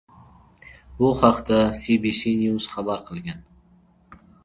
Bu haqda CBC News xabar qilgan .